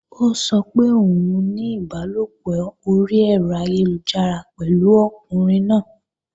Ó sọ pé òun ní ìbálòpọ̀ orí ẹ̀rọ ayélujára pẹ̀lú ọkùnrin náà